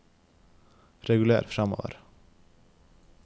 reguler framover